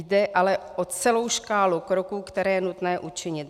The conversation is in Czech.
Jde ale o celou škálu kroků, které je nutné učinit.